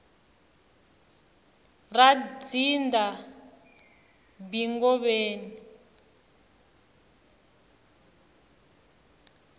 ra dzindza b ngobeni